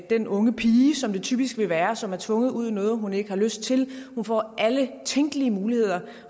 den unge pige som det typisk vil være som er tvunget ud i noget som hun ikke har lyst til får alle tænkelige muligheder